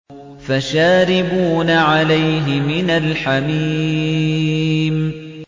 فَشَارِبُونَ عَلَيْهِ مِنَ الْحَمِيمِ